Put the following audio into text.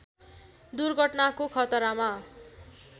दुर्घटनाको खतरामा